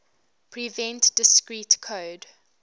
prevent discrete code